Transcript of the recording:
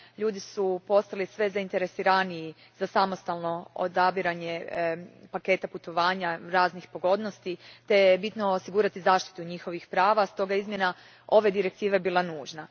Ljudi su postali sve zainteresiraniji za samostalno odabiranje paketa putovanja, raznih pogodnosti, te je bitno osigurati zaštitu njihovih prava, stoga je izmjena ova Direktive bila nužna.